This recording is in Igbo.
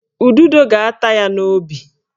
Ududo ga-ata ya n'obi